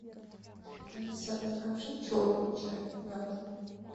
алиса закажи черный чай на дом